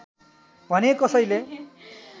भने कसैले